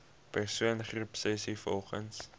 persoon groepsessies volgens